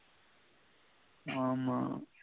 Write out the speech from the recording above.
ஆமா